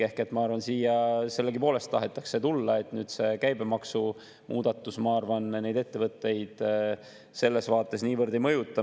Ehk et ma arvan, et siia sellegipoolest tahetakse tulla ja et see käibemaksumuudatus neid ettevõtteid selles vaates niivõrd ei mõjuta.